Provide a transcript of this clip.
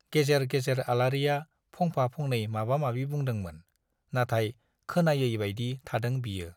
गेजेर गेजेर आलारिया फंफा-फंनै माबा माबि बुंदोंमोन - नाथाय खोनायैबाइदि थादों बियो।